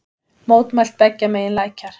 Mótmælt beggja megin lækjar